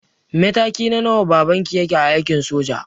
Mataki na nawa baban ki yake a aikin soja?